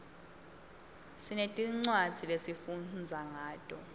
sinetincwadzi lesifundza ngato